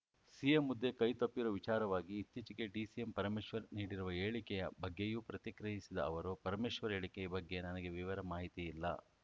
CM ಹುದ್ದೆ ಕೈತಪ್ಪಿರೋ ವಿಚಾರವಾಗಿ ಇತ್ತೀಚೆಗೆ ಡಿಸಿಎಂ ಪರಮೇಶ್ವರ್‌ ನೀಡಿರುವ ಹೇಳಿಕೆಯ ಬಗ್ಗೆಯೂ ಪ್ರತಿಕ್ರಿಯಿಸಿದ ಅವರು ಪರಮೇಶ್ವರ್‌ ಹೇಳಿಕೆ ಬಗ್ಗೆ ನನಗೆ ವಿವರ ಮಾಹಿತಿ ಇಲ್ಲ